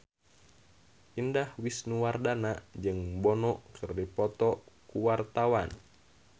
Indah Wisnuwardana jeung Bono keur dipoto ku wartawan